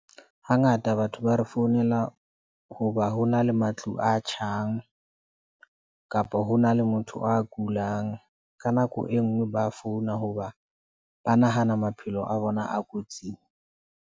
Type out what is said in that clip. Hangata batho ba re founela hoba ho na le matlu a tjhang kapa hona le motho a kulang. Ka nako enngwe ba founa hoba ba nahana maphelo a bona a kotsing.